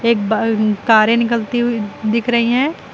एक कारे निकलती हुई दिख रही हैं।